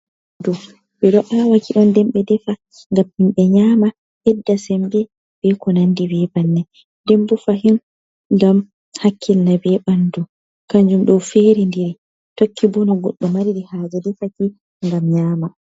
Ndaɓɓu, ɓeɗon ahwa, nden ɓeɗon defa Ndaɓɓum ɓe nyama, ɓesda sembe beko nandi be banni, nden bo fahin ngam hakkilna be ɓandu, kanjum ɗo ferindiri tokki buno goddo mariri haje no defaki ngam nyama.